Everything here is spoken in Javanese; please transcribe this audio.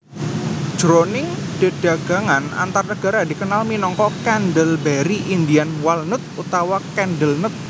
Jroning dedagangan antarnegara dikenal minangka candleberry Indian walnut utawa candlenut